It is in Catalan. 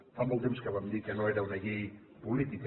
fa molt temps que vam dir que no era una llei política